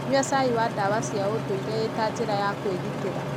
Nyua cai wa dawa cia ũndũire ĩ ta njĩra ya kũĩgitira.